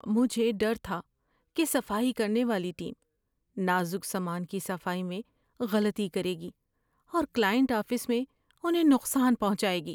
مجھے ڈر تھا کہ صفائی کرنے والی ٹیم نازک سامان کی صفائی میں غلطی کرے گی اور کلائنٹ آفس میں انہیں نقصان پہنچائے گی۔